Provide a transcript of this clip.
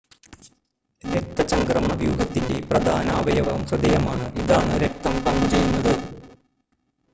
രക്തചംക്രമണ വ്യൂഹത്തിൻ്റെ പ്രധാന അവയവം ഹൃദയമാണ് ഇതാണ് രക്തം പമ്പ് ചെയ്യുന്നത്